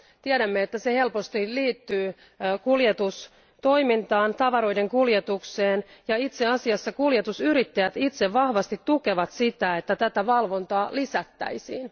Tiedämme, että se helposti liittyy kuljetustoimintaan, tavaroiden kuljetukseen. Itse asiassa kuljetusyrittäjät itse vahvasti tukevat sitä, että tätä valvontaa lisättäisiin.